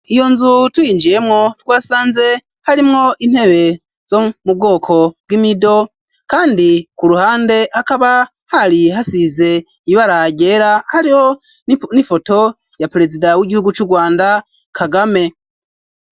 Iyo nzu tuyiinjiyemwo twasanze harimwo intebe zo mu bwoko bw'imido kandi ku ruhande hakaba hari hasize ibara ryera hariho n'ifoto ya perezida w'igihugu cu Rwanda Kagame.